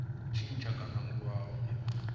tshintsha kana a aluwa na